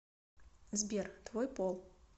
сбер твой пол